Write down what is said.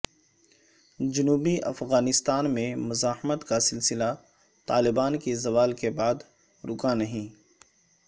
جنوبی افغانستان میں مزاحمت کا سلسلہ طالبان کے زوال کے بعد رکانہیں